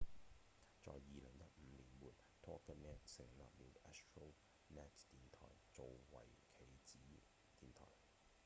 在2015年末 toginet 成立了 astronet 電台做為其子電台